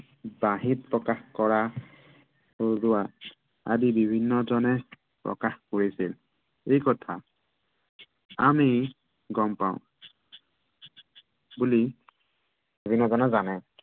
বাঁহীত প্ৰকাশ কৰা সৰুসুৰা, আদি বিভিন্নজনে প্ৰকাশ কৰিছে। এই কথা আমি গম পাও। বুলি বিভিন্ন জনে জানে।